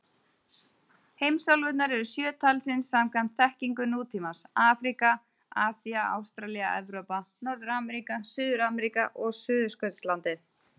Heimsálfurnar eru sjö talsins samkvæmt þekkingu nútímans: Afríka, Asía, Ástralía, Evrópa, Norður-Ameríka, Suður-Ameríka og Suðurskautslandið.